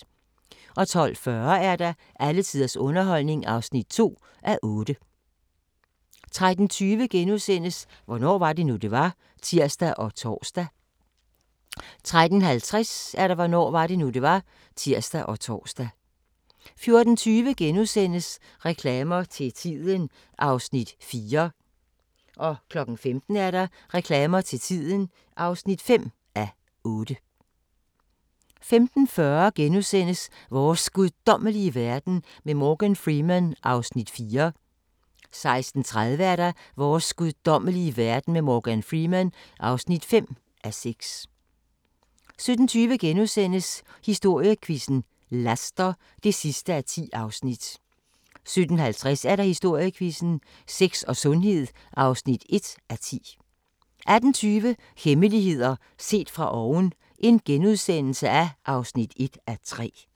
12:40: Alle tiders underholdning (2:8) 13:20: Hvornår var det nu, det var? *(tir og tor) 13:50: Hvornår var det nu, det var? (tir og tor) 14:20: Reklamer til tiden (4:8)* 15:00: Reklamer til tiden (5:8) 15:40: Vores guddommelige verden med Morgan Freeman (4:6)* 16:30: Vores guddommelige verden med Morgan Freeman (5:6) 17:20: Historiequizzen: Laster (10:10)* 17:50: Historiequizzen: Sex og sundhed (1:10) 18:20: Hemmeligheder set fra oven (1:3)*